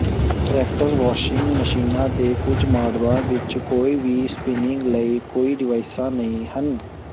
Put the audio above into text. ਐਕਟਰੈਕਟਰ washing ਮਸ਼ੀਨਾਂ ਦੇ ਕੁਝ ਮਾਡਲਾਂ ਵਿਚ ਕੋਈ ਵੀ ਸਪਿਨਿੰਗ ਲਈ ਕੋਈ ਡਿਵਾਈਸਾਂ ਨਹੀਂ ਹਨ